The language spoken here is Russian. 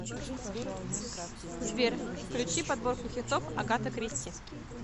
сбер включи подборку хитов агаты кристи